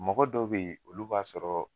Mɔgɔ dɔ bɛ ye olu b'a sɔrɔ